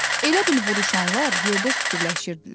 Elə bil vuruşanlar yerdə süpürləşirdilər.